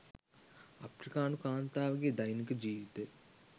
අප්‍රිකානු කාන්තාවගේ දෛනික ජීවිතය